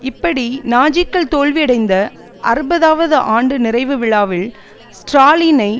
இப்படி நாஜிக்கள் தோல்வியடைந்த அறுபதுவது ஆண்டு நிறைவு விழாவில் ஸ்ராலினை